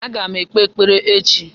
Aga m ekpe ekpere echi